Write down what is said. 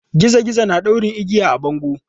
Gizo gizo na ɗaure igiya a bango.